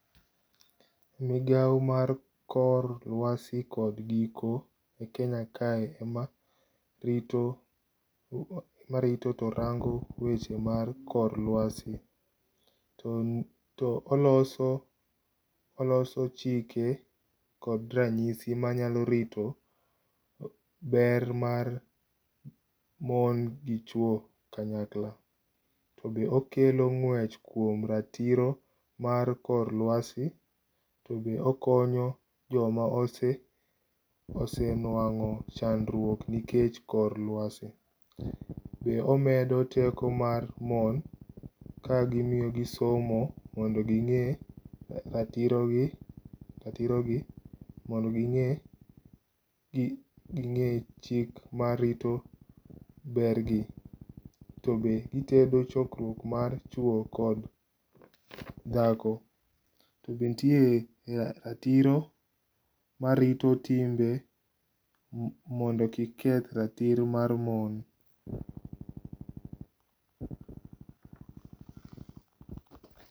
Migao mar kor luasi kod giko e Kenya kae ema rito to rango weche mar kor luasi. To oloso chike kod ranyisi manyalo rito ber mar mon gi chuo kanyakla. To be okelo ngwech kuom ratiro mar kor lwasi to be okonyo jomo ose, ose nwango chandruok nikech kor luasi. Be omedo teko mar mon ka omiyo gi somo mondo ginge ratiro gi, ratiro gi, mondo ginge, ginge chik marito ber gi, to be gitedo chokruok mar chuo kod dhako to be nitie ratiro marito timbe mondo kik keth ratiro mar mon